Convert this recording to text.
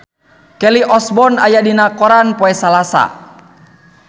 Kelly Osbourne aya dina koran poe Salasa